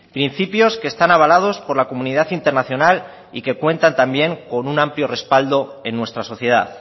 principios que están avalados por la comunidad internacional y que cuentan también con un amplio respaldo en nuestra sociedad